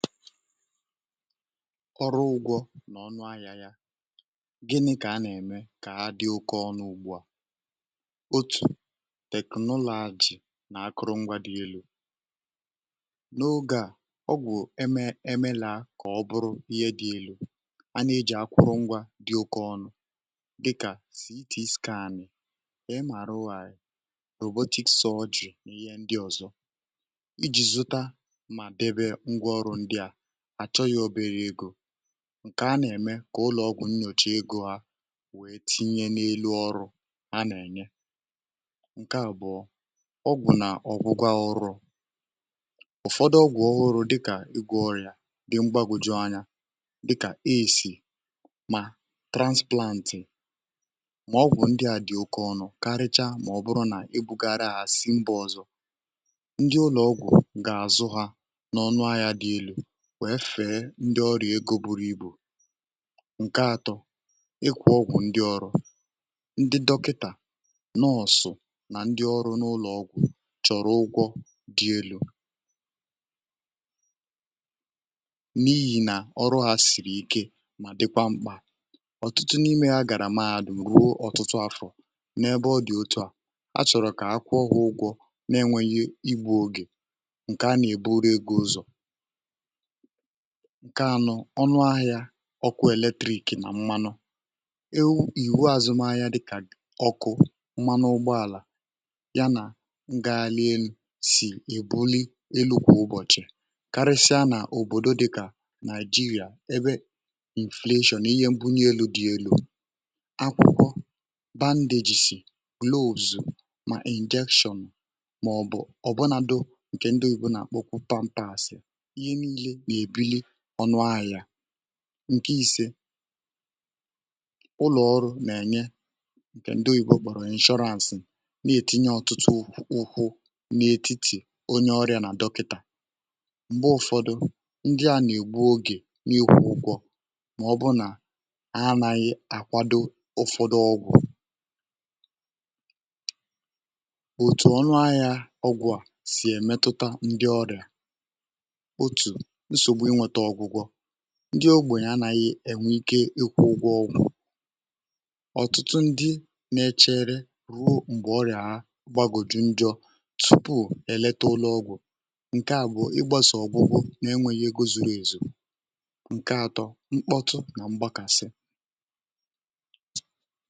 ọrụ ụgwọ̇ n’ọnụ ahịà yà um gịnị kà a nà-eme kà ha dị oké ọnụ ugbu à otù teknụlọ̀ à jì nà-akụrụ ngwa dị elu̇ um n’oge à ọgwụ̀ eme emelà a kà ọ bụrụ ihe dị elu̇ a na-eji akwụrụ ngwa dị oke ọnụ dịkà sì itì skànì ị màrụ à yà botik sọọ jù n’ihe ndị ọ̀zọ iji̇ zụta àchọ yȧ oberė egȯ ǹkè a nà- eme kà ụlọ̀ ọgwụ̀ nnyòchà egȯ ha wee tinye n’elu ọrụ a nà-ènye ǹke àbụ̀ọ ọgwụ̀ nà ọ̀gwụgwȧ ụrọ̇ ụ̀fọdụ ọgwụ̀ ọhụrụ̇ dịkà igwė ọrị̀à dị mgbàgwùjù anya dịkà isì mà transplantì mà ọgwụ̀ ndị à dị oke ọnụ karịcha um mà ọ bụrụ nà ebugara àsịba ọ̀zọ ndị ụlọ̀ ọgwụ̀ gà-àzụ hȧ n’ọnụ ha yȧ dị elu wee fee ndị ọrịà ego buru ibù nke atọ ịkwụ̇ ọgwụ̀ ndị ọrụ ndị dọkịtà n’ọsụ̀ nà ndị ọrụ n’ụlọ̀ ọgwụ̀ chọrọ ụgwọ dị elu̇ n’ihi nà ọrụ ha siri ike mà dịkwa mkpà ọtụtụ n’ime agarà maàdụ̀ m̀rụ o ọtụtụ afọ̀ n’ebe ọ dị̀ otu à achọ̀rọ̀ kà akwụ ọgwụ̀ ụgwọ̇ n’enwėnyė igbu̇ ogè nkè a nà-eburu egȯ ụzọ̀ ǹke anọ ọnụ ahịȧ ọkụ̇ eletrik nà mmanụ ewu ìhùwe àzụm ahịa dịkà ọkụ̇ mmanụ ụgbọàlà ya nà ngaghalị elu̇ sì èbuli elu̇ kwà ụbọ̀chị̀ karịsịa nà òbòdo dịkà nàịjịrịà ebe emulsion ihe mbunye elu̇ dị yȧ elu̇ um akwụkọ bandagec, loòzù mà injection màọ̀bụ̀ ọ̀bụnado ǹkè ndị oyibo nà-àkpọkwu panpas um ǹkè isė ụlọ̀ ọrụ̇ nà-ènye ǹkè ndị ògbòrò inshọransị̀ nà-ètinye ọtụtụ ùkwù ukwu̇ n’ètitì onye ọrịȧ nà dọkịtà um m̀gbè ụfọ̇dụ̇ ndị à nà-ègbu ogè n’ikwùukwọ màọbụ nà a anȧghị akwado ụfọ̇dụ̇ ọgwụ̀ ndị ogbònyè anàghị̀ enwè ike ịkwụ̇ ụgwọ ọgwụ̀ ọ̀tụtụ ndị na-echère ruo m̀gbè ọrịà ahụ̀ gbagòjù ǹjọ̀ tupuù è lete ụlọ̀ ọgwụ̀ ǹkè à bụ̀ igbȧsì ọ̀bụgbụ nà-enwėghi̇ egȯ zuru èzù um ǹke ȧtọ̇ mkpọtụ nà mgbakàsị.